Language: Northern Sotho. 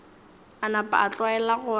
a napa a tlwaela gore